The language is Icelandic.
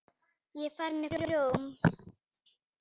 Ég er farinn upp úr.